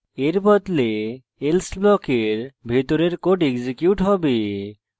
এর বদলে else ব্লকের ভিতরের code এক্সিকিউট হবে